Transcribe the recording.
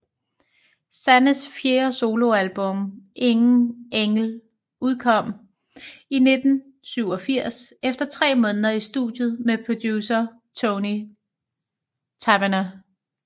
Sannes fjerde soloalbum Ingen engel udkom i 1987 efter tre måneder i studiet med producer Tony Taverner